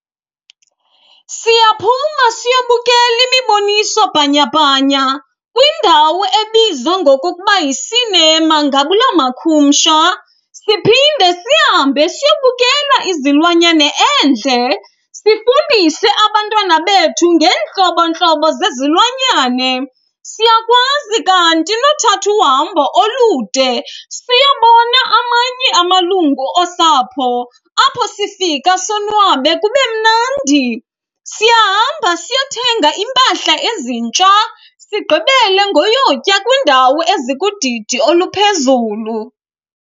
Siyaphuma siyobukela imiboniso bhanyabhanya kwindawo ebizwa ngokokuba yi-cinema ngabula makhumsha. Siphinde sihambe siyobukela izilwanyane endle, sifundise abantwana bethu ngeentlobo ntlobo zezilwanyane. Siyakwazi kanti nothatha uhambo olude siyobona amanye amalungu osapho apho sifika sonwabe kube mnandi. Siyahamba siyothenga iimpahla ezintsha, sigqibele ngoyotya kwiindawo ezikudidi oluphezulu.